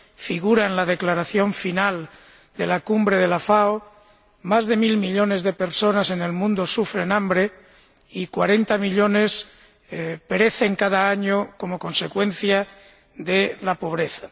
Figuran en la declaración final de la Cumbre de la FAO más de mil millones de personas en el mundo sufren hambre y cuarenta millones perecen cada año como consecuencia de la pobreza.